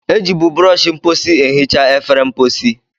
E jibu brọsh mposi ehicha efere mposi.